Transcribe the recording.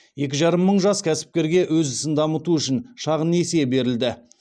екі жарым мың жас кәсіпкерге өз ісін дамыту үшін шағын несие берілді